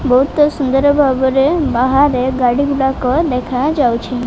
ବୋହୁତ ସୁନ୍ଦର୍ ଭାବରେ ବାହାରେ ଗାଡ଼ି ଗୁଡାକ ଦେଖା ଯାଉଚି ।